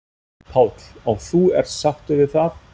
Páll: Og þú ert sáttur við það?